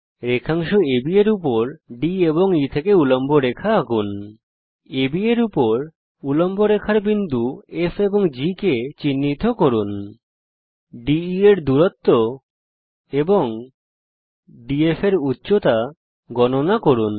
রেখাংশ AB এর উপর D এবং E থেকে উল্লম্ব রেখা আঁকুন AB এর উপর উল্লম্ব রেখার বিন্দু F এবং G কে চিহ্নিত করুন DE এর দূরত্ব এবং DF এর উচ্চতা গণনা করুন